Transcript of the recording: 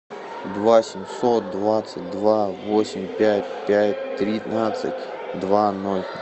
два семьсот двадцать два восемь пять пять тринадцать два ноль